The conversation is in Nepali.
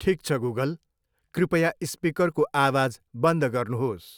ठिक छ गुगल, कृपया स्पिकरको आवाज बन्द गर्नुहोस्।